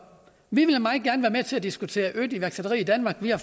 vi vil meget gerne være med til at diskutere mere iværksætteri i danmark vi har